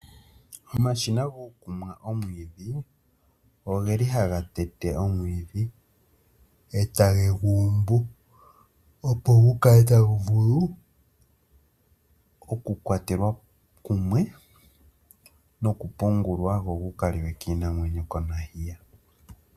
Omashina gokumwa omwiidhi ogeli haga tete omwiidhi etage guumbu opo gukale tagu vulu oku kwatelwa kumwe nokupungulwa go gukaliwe kiinamwenyo.